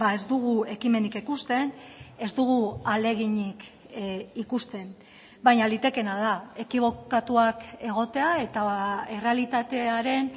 ez dugu ekimenik ikusten ez dugu ahaleginik ikusten baina litekeena da ekibokatuak egotea eta errealitatearen